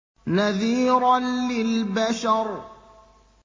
نَذِيرًا لِّلْبَشَرِ